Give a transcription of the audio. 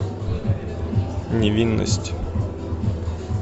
невинность